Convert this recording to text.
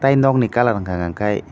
aw nog ni colour unkka ke--